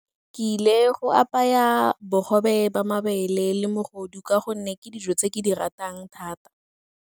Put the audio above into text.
Ke ile go apaya bogobe ba mabele le mogodu ka gonne ke dijo tse ke di ratang thata.